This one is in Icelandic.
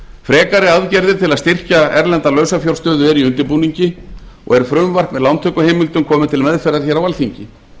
frekari aðgerðir til að styrkja erlenda lausafjárstöðu er í undirbúningi og er frumvarp með lántökuheimildum komið til meðferðar hér á alþingi